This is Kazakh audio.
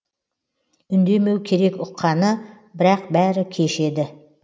үндемеу керек ұққаны бірақ бәрі кеш еді